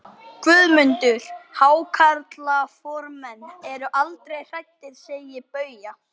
GUÐMUNDUR: Hákarlaformenn eru aldrei hræddir, segir Bauja.